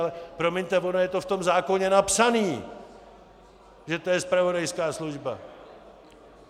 Ale promiňte, ono je to v tom zákoně napsané, že to je zpravodajská služba!